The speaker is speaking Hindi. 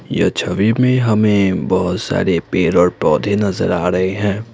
यह छवि में हमें बहुत सारे पेड़ और पौधे नजर आ रहे हैं।